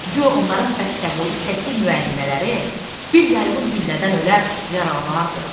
Guya onların bəstəboyu istəkli müəllimələri bir yayğın güllədən ölər, yaralanardı.